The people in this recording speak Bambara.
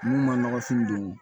N'u ma nɔgɔfin don